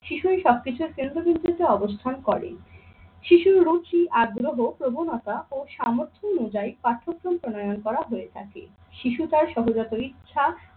শিশুর সবকিছুর কেন্দ্রবিন্দুতে অবস্থান করে। শিশুর রুচি আগ্রহ, প্রবণতা ও সামর্থ্য অনুযায়ী পাঠ্যক্রম প্রণয়ন করা হয়ে থাকে। শিশু তার সহজাত ইচ্ছা